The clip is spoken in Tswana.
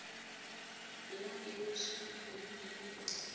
la kemiso dikgwedi di le